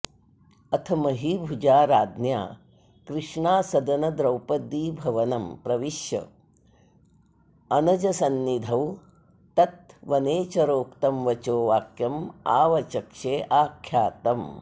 अथ महीभुजा राज्ञा कृष्णासदन द्रौपदीभवनं प्रविश्य अनजसन्निधौ तत् वनेचरोक्तं वचो वाक्यं आवचक्षे आख्यातम्